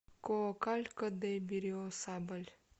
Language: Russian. коакалько де берриосабаль